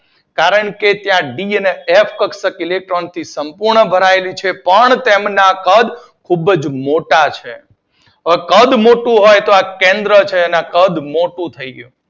કારણ કે ત્યાં ડી અને એફ કક્ષક ઇલેક્ટ્રોન થી સંપૂર્ણ ભરાયેલી છે પણ તેમના કદ ખૂબ જ મોટા છે અને કદ મોટું હોય તો આ કેન્દ્ર છે તેનું કદ મોટું થઈ ગયું